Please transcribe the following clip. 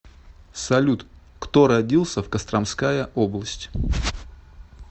салют кто родился в костромская область